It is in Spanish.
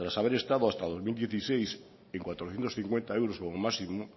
haber estado hasta dos mil dieciséis en cuatrocientos cincuenta euros como máximo